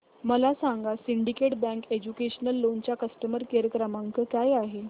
मला सांगा syndicate bank educational loan चा कस्टमर केअर क्रमांक काय आहे